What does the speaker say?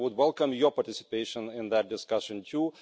I would welcome your participation in that discussion too.